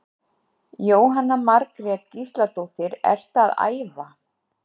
Jóhanna Margrét Gísladóttir: Ertu að æfa?